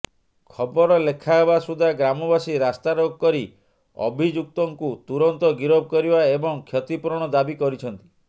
ଖବର ଲେଖାହେବା ସୁଦ୍ଧା ଗ୍ରାମବାସୀ ରାସ୍ତାରୋକ କରି ଅଭିଯୁକ୍ତୁଙ୍କୁ ତୁରନ୍ତ ଗିରଫ କରିବା ଏବଂ କ୍ଷତିପୂରଣ ଦାବି କରିିଛନ୍ତି